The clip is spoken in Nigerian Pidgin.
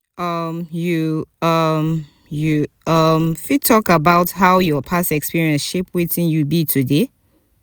um you um you um fit talk about how your past experiences shape wetin you be today?